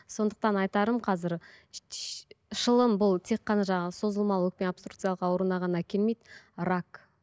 сондықтан айтарым қазір шылым бұл тек қана жаңағы созылмалы өкпе абструкциялық ауруына ғана әкелмейді рак